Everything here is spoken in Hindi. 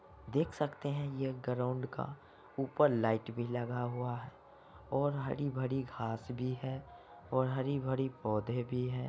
देख सकते है ये ग्राउन्ड का ऊपर लाइट भी लगा हुआ है और हरी-भारी घास भी है और हरी-भरी पौधे भी है।